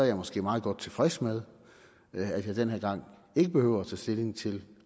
jeg måske meget godt tilfreds med at jeg den her gang ikke behøver at tage stilling til